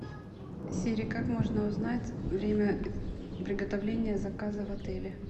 сири как можно узнать время приготовления заказа в отеле